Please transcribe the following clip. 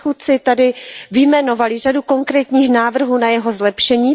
Předchůdci zde vyjmenovali řadu konkrétních návrhů na jeho zlepšení.